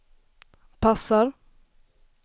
passar